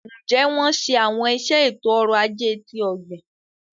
Njẹ wọn ṣe awọn iṣẹ eto-ọrọ ajé ti ogbin?